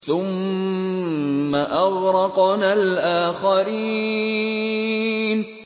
ثُمَّ أَغْرَقْنَا الْآخَرِينَ